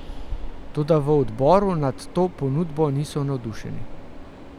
Toda v odboru nad to ponudbo niso navdušeni.